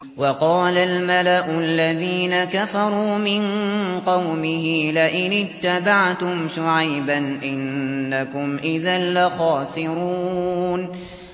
وَقَالَ الْمَلَأُ الَّذِينَ كَفَرُوا مِن قَوْمِهِ لَئِنِ اتَّبَعْتُمْ شُعَيْبًا إِنَّكُمْ إِذًا لَّخَاسِرُونَ